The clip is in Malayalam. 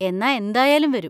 എന്നാ എന്തായാലും വരും.